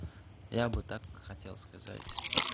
я бы так хотел сказать